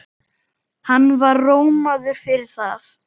Hann var rómaður fyrir það.